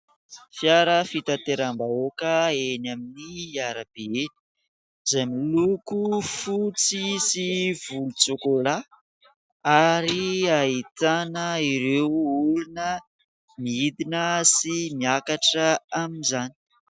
Fiara fitateram-bahoaka eny amin'ny arabe eny, izay miloko fotsy sy volontsokolà ary ahitana ireo olona midina sy miakatra amin'izany.